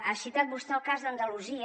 ha citat vostè el cas d’andalusia